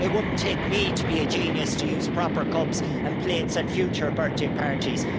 It wouldn't take me to be a genius to use proper cups and plates at future birthday parties.